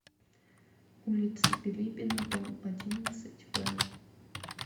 улица билибина дом одиннадцать в